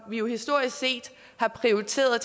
vi historisk set har prioriteret